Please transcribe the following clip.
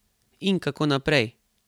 In kako naprej?